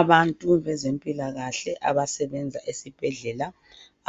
Abantu bezempilakahle abasebenza esibhedlela